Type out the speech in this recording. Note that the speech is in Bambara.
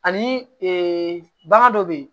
Ani bana dɔ bɛ yen